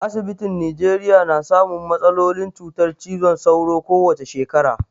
Asibitin Nijeriya na samun matsalolin cutar cizon sauro ko wace shekara.